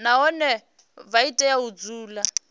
nahone vha tea u dzula